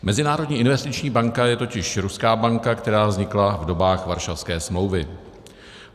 Mezinárodní investiční banka je totiž ruská banka, která vznikla v dobách Varšavské smlouvy.